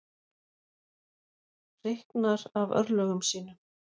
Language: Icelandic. Hreyknar af örlögum sínum.